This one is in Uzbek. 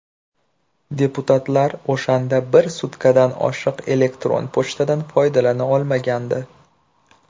Deputatlar o‘shanda bir sutkadan oshiq elektron pochtadan foydalana olmagandi.